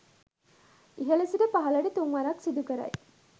ඉහළ සිට පහළට තුන්වරක් සිදු කරයි.